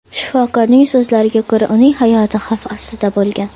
Shifokorning so‘zlariga ko‘ra, uning hayoti xavf ostida bo‘lgan.